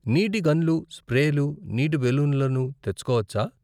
నీటి గన్లు, స్ప్రేలు, నీటి బెలూన్లను తెచ్చుకోవచ్చా?